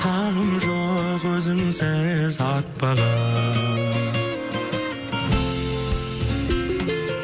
таңым жоқ өзіңсіз атпаған